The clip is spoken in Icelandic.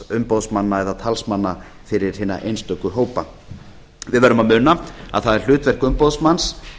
umboðsmanna eða talsmanna fyrir hina einstöku hópa við verðum að muna að það er hlutverk umboðsmanns